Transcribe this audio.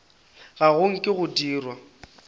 ga go nke go dirwa